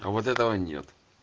а вот этого нет